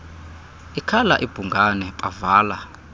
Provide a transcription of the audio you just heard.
ikhala ibhungane bavala